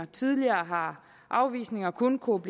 tidligere har afvisninger kun kunnet